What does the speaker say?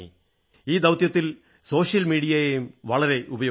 ഈ ദൌത്യത്തിൽ സോഷ്യൽ മീഡിയയെയും വളരെ ഉപയോഗിച്ചു